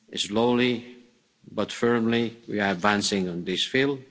Slowly but firmly, we are advancing in this field.